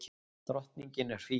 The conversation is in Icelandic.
Drottningin er fín.